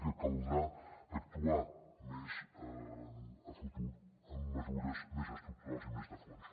i caldrà actuar més a futur amb mesures més estructurals i més de fons